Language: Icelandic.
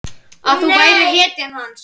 Að þú værir hetjan hans.